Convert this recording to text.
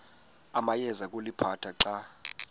awayeza kuliphatha xa